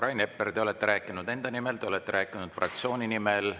Rain Epler, te olete rääkinud enda nimel, te olete rääkinud fraktsiooni nimel.